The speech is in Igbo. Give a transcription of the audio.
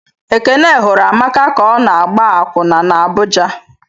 Ekene hụrụ Amaka ka ọ na-agba akwụna n' Abuja.